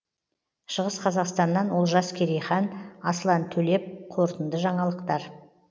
шығыс қазақстаннан олжас керейхан аслан төлеп қорытынды жаңалықтар